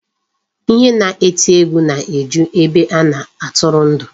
Ihe na-eti egwu na-eju ebe a na-atụrụ ndụ.